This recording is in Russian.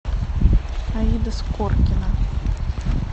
аида скоркина